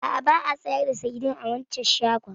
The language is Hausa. A'a, ba a sayar da saidin a waccan shagon.